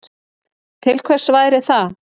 Til hvers væri það?